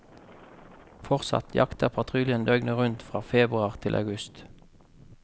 Fortsatt jakter patruljen døgnet rundt fra februar til august.